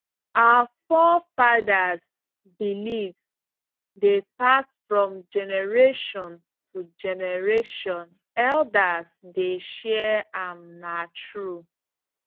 our forefathers beliefs dey pass from generation to generation elders dey share am na true